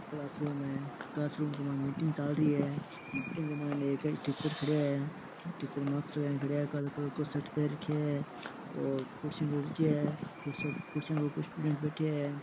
Classroom है classroom में meeting चाल रही है मीटिंग में एक टीचर खड़िया है टीचर मास्क लगाए खड़ा है काले कलर को शर्ट पेहेन राख्या है और कुर्सियां रखी है कुर्सियां क ऊपर स्टूडेंट बैठया है।